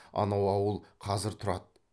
анау ауыл қазір тұрады